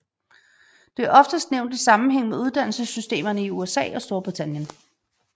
Det er oftest nævnt i sammenhæng med uddannelsessystemerne i USA og Storbritannien